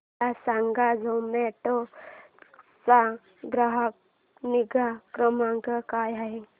मला सांगा झोमॅटो चा ग्राहक निगा क्रमांक काय आहे